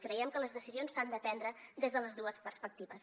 creiem que les decisions s’han de prendre des de les dues perspectives